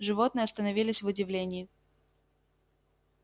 животные остановились в удивлении